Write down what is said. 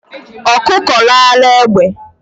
Ọkụkọ ráara egbe